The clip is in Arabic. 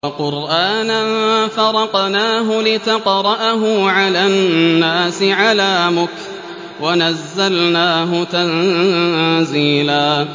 وَقُرْآنًا فَرَقْنَاهُ لِتَقْرَأَهُ عَلَى النَّاسِ عَلَىٰ مُكْثٍ وَنَزَّلْنَاهُ تَنزِيلًا